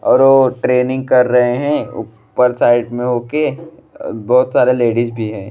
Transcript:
अऊर वो ट्रेनिंग कर रहे हैं। ऊपर साइड में होके बहुत सारा लेडीज भी हैं।